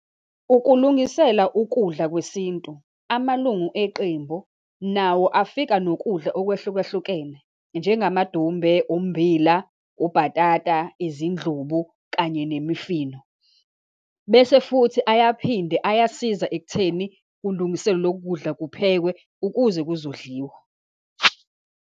Ukulungisela ukudla kwesintu, amalungu eqembu nawo afika nokudla okwehlukahlukene, njengamadumbe, ummbila, ubhatata, izindlubu, kanye nemifino. Bese futhi ayaphinde ayasiza ekutheni kulungiselwe lokudla kuphekwe ukuze kuzodliwa.